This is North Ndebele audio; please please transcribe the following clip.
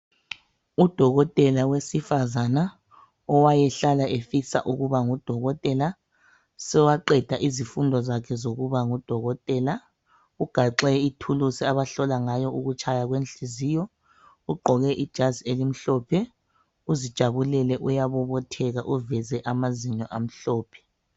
Udokotela owesifazana owayehlala efisa ukuba ngudokotela ,sowaqeda izifundo zakhe zokuba ngudokotela. Ugaxe ithuluzi abahlola ngayo ukutshaya kwenhliziyo, ugqoke ijazi elimhlophe uzijabulele, uyabobotheka uveze amazinyo amhlophe